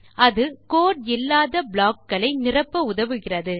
அது கோட் இல்லாத ப்ளாக் களை நிரப்ப உதவுகிறது